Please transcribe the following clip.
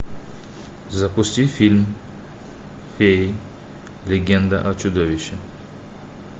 запусти фильм феи легенда о чудовище